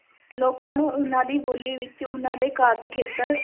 ਲੋਕਾਂ ਨੂੰ ਉਹਨਾਂ ਦੀ ਬੋਲੀ ਵਿੱਚ, ਉਹਨਾਂ ਦੇ ਕਾਰਜ-ਖੇਤਰ